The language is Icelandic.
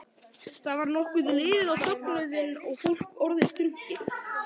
Þá var nokkuð liðið á fögnuðinn og fólk orðið drukkið.